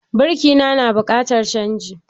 Birki na, na buƙatar canji